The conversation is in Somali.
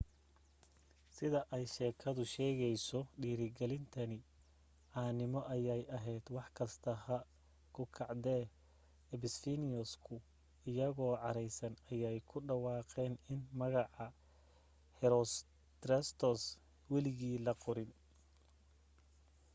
sida ay sheekadu sheegayso dhiirigelintani caanimo ayay ahayd wax kasta ha ku kacdee ephesians-ku iyagoo caraysan ayay ku dhawaaqeen in magaca herostratus weligii la qorayn